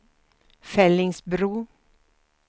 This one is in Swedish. Fellingsbro